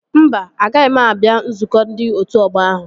Mba, agaghị m abịa nzukọ ndị otu ọgbọ ahụ